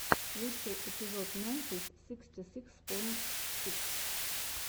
лучший эпизод мемфис сиксти сикс поинт сикс